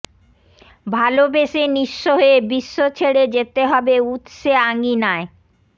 ভালোবেসে নিঃস্ব হয়ে বিশ্ব ছেড়ে যেতে হবে উৎসে আঙিনায়